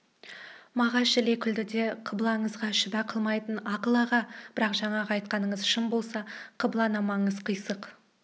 мағаш іле күлді де қыблаңызға шүбә қылмаймын ақыл аға бірақ жаңағы айтқаныңыз шын болса қыбланамаңыз қисық